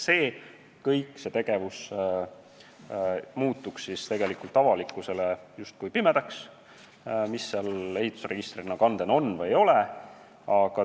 Avalikkusele muutuks justkui pimedaks kogu see tegevus, mis ehitisregistris kannetena on või ei ole.